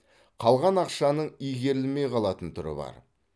қалған ақшаның игерілмей қалатын түрі бар